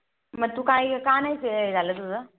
मग तू काय गं, का नाही हे झालं तुझं?